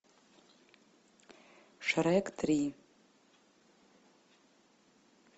шрек три